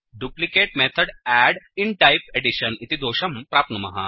duplicate method add in type edition इति दोषं प्राप्नुमः